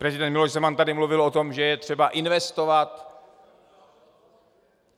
Prezident Miloš Zeman tady mluvil o tom, že je třeba investovat.